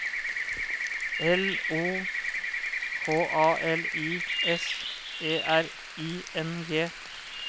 L O K A L I S E R I N G